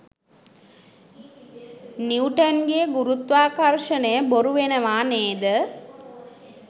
නිවුටන්ගේ ගුරුත්වාකර්ෂණය බොරු වෙනවා නේද?